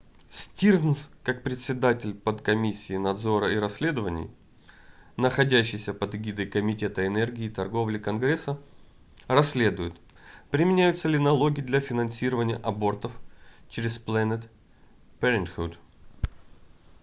стирнз как председаель подкомиссии надзора и расследований находящейся под эгидой комитета энергии и торговли конгресса расследует применяются ли налоги для финансирования абортов через planned parenthood